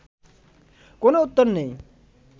কোনও উত্তর নেই